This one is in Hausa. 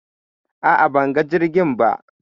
a'a banga jirgin ba